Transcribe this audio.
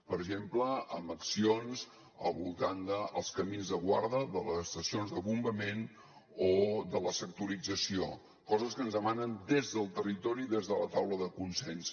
per exemple amb accions al voltant dels camins de guarda de les estacions de bombament o de la sectorització coses que ens demanen des del territori des de la taula de consens